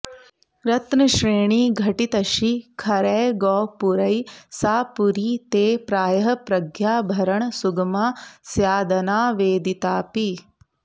रत्नश्रेणीघटितशिखरैगोपुरैः सा पुरी ते प्रायः प्रज्ञाभरण सुगमा स्यादनावेदितापि